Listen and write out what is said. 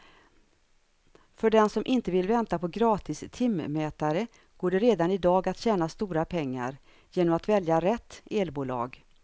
För den som inte vill vänta på gratis timmätare går det redan i dag att tjäna stora pengar genom att välja rätt elbolag.